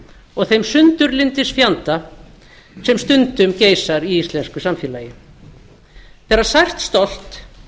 og þeim sundurlyndisfjanda sem stundum geisar í íslensku samfélagi þegar sært stolt